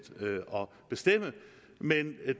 at bestemme men